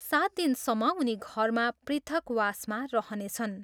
सात दिनसम्म उनी घरमा पृथकवासमा रहनेछन्।